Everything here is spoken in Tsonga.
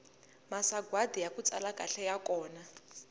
masagwadi yaku tsala kahle ya kona